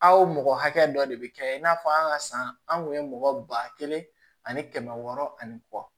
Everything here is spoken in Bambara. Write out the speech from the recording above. Aw mɔgɔ hakɛ dɔ de bɛ kɛ i n'a fɔ an ka san an kun ye mɔgɔ ba kelen ani kɛmɛ wɔɔrɔ ani kɔ